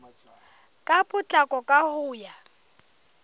ka potlako ka ho ya